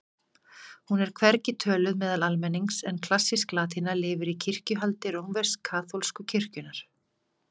Hún er hvergi töluð meðal almennings en klassísk latína lifir í kirkjuhaldi rómversk-kaþólsku kirkjunnar.